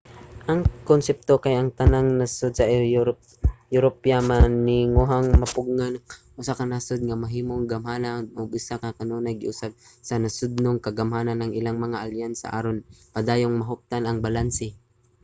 ang konsepto kay ang tanang nasod sa europa maninguhang mapugngan ang usa ka nasod nga mahimong gamhanan ug sa ingon kanunay giusab sa nasodnong kagamhanan ang ilang mga alyansa aron padayong mahuptan ang balanse